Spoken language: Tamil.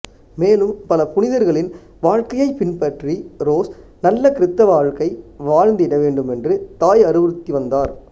மேலும் பல புனிதர்களின் வாழ்க்கையைப் பின்பற்றி ரோஸ் நல்ல கிறித்தவ வாழ்க்கை வாழ்ந்திட வேண்டும் என்று தாய் அறிவுறுத்திவந்தார்